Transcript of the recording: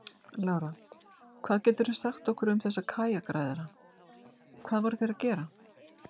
Lára: Hvað geturðu sagt okkur um þessa kajakræðara, hvað voru þeir að gera?